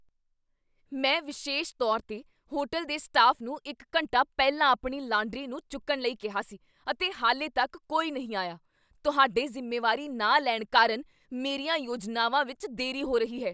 ਮੈਂ ਵਿਸ਼ੇਸ਼ ਤੌਰ 'ਤੇ ਹੋਟਲ ਦੇ ਸਟਾਫ ਨੂੰ ਇੱਕ ਘੰਟਾ ਪਹਿਲਾਂ ਆਪਣੀ ਲਾਂਡਰੀ ਨੂੰ ਚੁੱਕਣ ਲਈ ਕਿਹਾ ਸੀ, ਅਤੇ ਹਾਲੇ ਤੱਕ ਕੋਈ ਨਹੀਂ ਆਇਆ। ਤੁਹਾਡੇ ਜ਼ਿੰਮੇਵਾਰੀ ਨਾ ਲੈਣ ਕਾਰਨ ਮੇਰੀਆਂ ਯੋਜਨਾਵਾਂ ਵਿੱਚ ਦੇਰੀ ਹੋ ਰਹੀ ਹੈ!